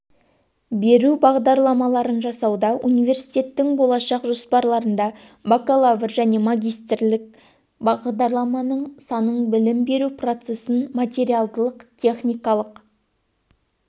беру бағдарламаларын жасауда университеттің болашақ жоспарларында бакалавр және магистрлік бағдарламалардың санын білім беру процесін материалдық-техникалық